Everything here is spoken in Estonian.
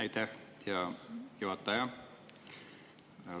Aitäh, hea juhataja!